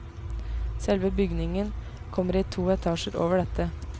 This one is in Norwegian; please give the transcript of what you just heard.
Selve bygningen kommer i to etasjer over dette.